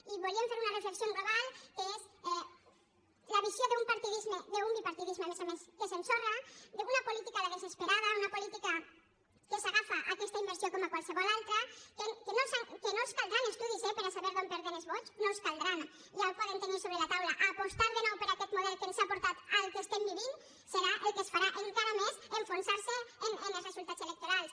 i volíem fer una reflexió en global que és la visió d’un partidisme d’un bipartidisme a més a més que s’ensorra d’una política a la desesperada una política que s’agafa a aquesta inversió com a qualsevol altra que no els caldran estudis eh per a saber d’on perden els vots no els en caldran ja ho poden tenir a sobre la taula apostar de nou per aquest model que ens ha portat al que estem vivint serà el que els farà encara més enfonsar se en els resultats electorals